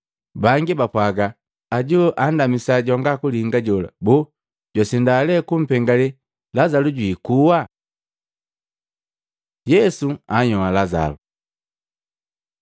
Bangi bapwaaga, “Ajo joanndamisa jwanga kulinga jola, boo jwasinda lee kupengale Lazalu jwikuha?” Yesu anhyoa Lazalu